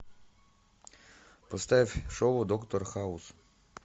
поставь шоу доктор хаус